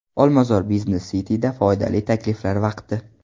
Olmazor Business City’da foydali takliflar vaqti!.